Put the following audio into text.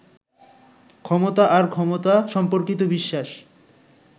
ক্ষমতা আর ক্ষমতা সম্পর্কিত বিশ্বাস